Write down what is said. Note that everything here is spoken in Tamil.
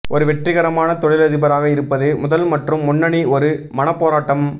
ஒரு வெற்றிகரமான தொழிலதிபராக இருப்பது முதல் மற்றும் முன்னணி ஒரு மனப்போராட்டம்